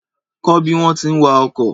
Kọ́ bí wọ́n ti ń wa ọkọ̀.